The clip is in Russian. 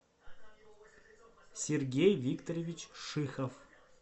сергей викторович шихов